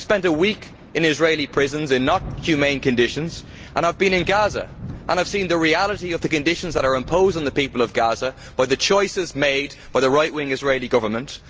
I have spent a week in Israeli prisons in inhumane conditions, and I have been to Gaza and seen the reality of the conditions that are imposed on the people of Gaza by the choices made by the right wing Israeli Government.